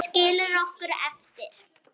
Skilur okkur eftir ein.